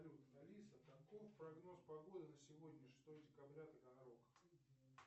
алиса каков прогноз погоды на сегодня шестое декабря таганрог